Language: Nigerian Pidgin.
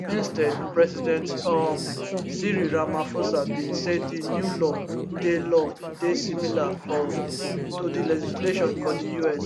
instead president um cyril ramaphosa bin say di new law dey law dey similar um to di legislation for di us